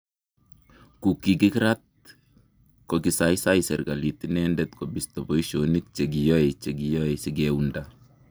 kukikirat kokiisaisai serikalit inendet kobisto boisinik che kiyoe che kiyoe sikeunda